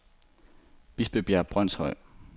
Bispebjerg Brønshøj